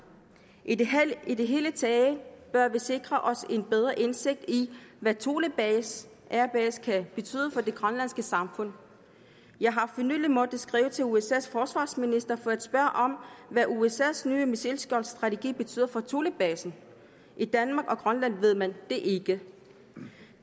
i det i det hele taget bør vi sikre os en bedre indsigt i hvad thule air base kan betyde for det grønlandske samfund jeg har for nylig måttet skrive til usas forsvarsminister for at spørge om hvad usas nye missilskjoldsstrategi betyder for thulebasen i danmark og grønland ved man det ikke